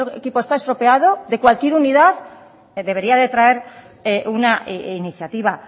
equipo está estropeado de cualquier unidad debería de traer una iniciativa